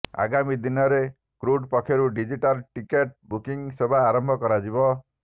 ଆଗାମୀ ଦିନରେ କ୍ରୁଟ୍ ପକ୍ଷରୁ ଡିଜିଟାଲ ଟିକଟ୍ ବୁକିଂ ସେବା ଆରମ୍ଭ କରାଯିବ